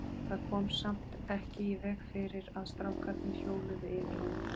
Það kom samt ekki í veg fyrir að strákarnir hjóluðu yfir hann.